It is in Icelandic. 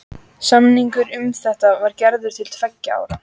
Samningur um þetta var gerður til tveggja ára.